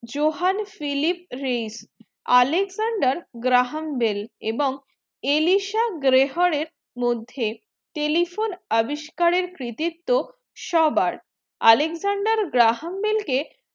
johan phillip reis Alexender graham bell এবং alisha graher মধ্যে telephone আবিষ্কারের credit তো সবার Alexender graham bell কে